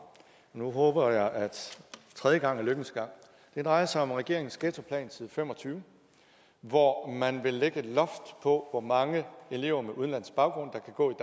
og nu håber jeg at tredje gang er lykkens gang det drejer sig om regeringens ghettoplan side fem og tyve hvor man vil lægge et loft på hvor mange elever med udenlandsk baggrund der kan gå i